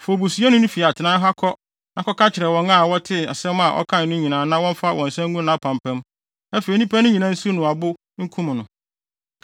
“Fa obusuyɛni no fi atenae ha kɔ na kɔka kyerɛ wɔn a wɔtee asɛm a ɔkae no nyinaa na wɔmfa wɔn nsa ngu nʼapampam; afei nnipa no nyinaa nsiw no abo nkum no.